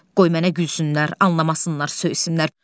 Qoy mənə gülsünlər, anlamasınlar, söysünlər.